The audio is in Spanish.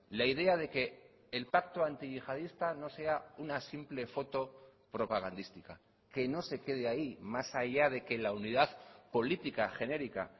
la idea de que el pacto antiyihadista no sea una simple foto propagandística que no se quede ahí más allá de que la unidad política genérica